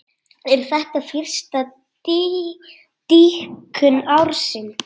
Er þetta fyrsta dýpkun ársins.